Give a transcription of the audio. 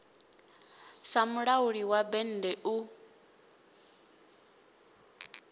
sa mulauli wa bennde u